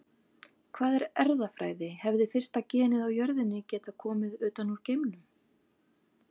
Hvað er erfðafræði Hefði fyrsta genið á jörðinni getað komið utan úr geimnum?